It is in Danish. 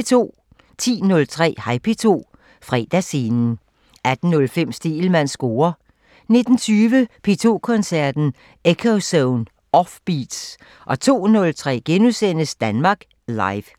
10:03: Hej P2 – Fredagsscenen 18:05: Stegelmanns score 19:20: P2 Koncerten – Ekkozone: Offbeats 02:03: Danmark Live *